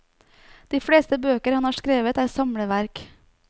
De fleste bøker han har skrevet er samleverk.